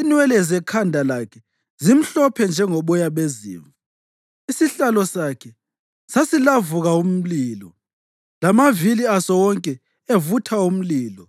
inwele zekhanda lakhe zimhlophe njengoboya bezimvu. Isihlalo sakhe sasilavuka umlilo, lamavili aso wonke evutha umlilo.